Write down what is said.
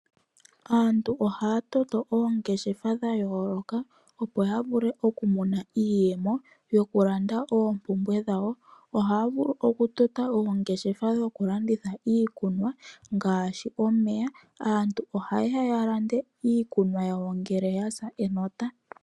Aantu ohaya toto oongeshefa dhayooloka opo yavule okumona iiyemo, yokulanda oompumbwe dhawo . Ohaya vulu okutota oongeshefa dhokulanditha iikunwa ngaashi omeya. Aantu ohayeya yalande iikunwa yawo ngele yasa enota.